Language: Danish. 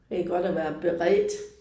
Det er godt at være beredt